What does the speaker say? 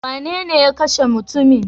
Wanene ya kashe mutumin?